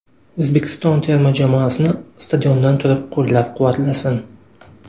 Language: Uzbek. O‘zbekiston terma jamoasini stadiondan turib qo‘llab-quvvatlasin”.